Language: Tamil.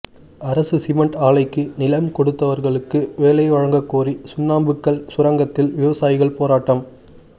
அரசு சிமென்ட் ஆலைக்கு நிலம் கொடுத்தவர்களுக்கு வேலை வழங்ககோரி சுண்ணாம்புக்கல் சுரங்கத்தில் விவசாயிகள் போராட்டம்